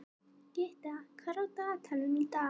Gytta, hvað er á dagatalinu í dag?